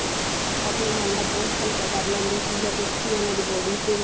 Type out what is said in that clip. ਆਪਣੇ ਮਨ ਦਾ ਬੋਝ ਹਲਕਾ ਕਰ ਲੈਂਦੇ ਸੀ ਜਾ ਕੁਛ ਵੀ ਇਹਨਾਂ ਦੀ bodies ਦੇ ਵਿੱਚ